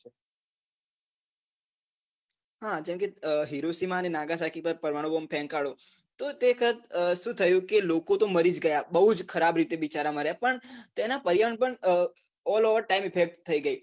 હા જેમ કે હીરોસીમાં અને નાગાશાકી પર પરમાણું બોમ ફેકાણો તો તે sir શું થયું કે લોકો તો મરી જ ગયા બઉ જ ખરાબ રીતે બીચારા મર્યા પણ તેનાં પર્યાવરણ પર પણ all over time effect થઇ ગઈ